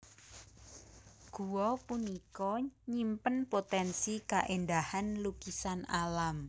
Gua punika nyimpen potensi kaéndahan lukisan alam